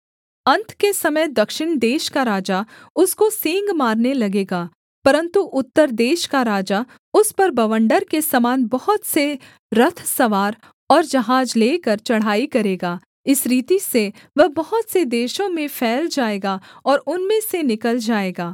अन्त के समय दक्षिण देश का राजा उसको सींग मारने लगेगा परन्तु उत्तर देश का राजा उस पर बवण्डर के समान बहुत से रथसवार और जहाज लेकर चढ़ाई करेगा इस रीति से वह बहुत से देशों में फैल जाएगा और उनमें से निकल जाएगा